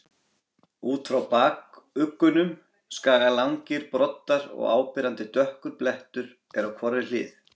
Út frá bakuggunum skaga langir broddar og áberandi dökkur blettur er á hvorri hlið.